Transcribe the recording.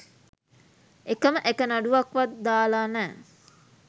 එකම එක නඩුවක් වත් දාල නෑ.